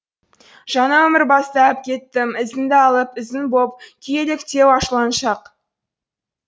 жаңа өмір бастап кеттім ізіңді алып ізің боп күйгелектеу ашуланшақ